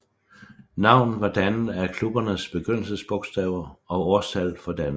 Navnet var dannet af klubbernes begyndelsesbogstaver og årstallet for dannelsen